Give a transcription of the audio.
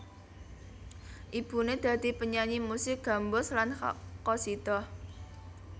Ibuné dadi penyanyi musik gambus lan qasidah